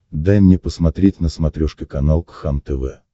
дай мне посмотреть на смотрешке канал кхлм тв